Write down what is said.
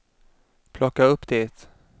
plocka upp det